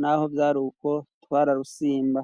naho vyari ukwo twararusimba.